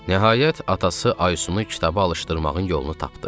Nəhayət, atası Aysunu kitaba alışdırmağın yolunu tapdı.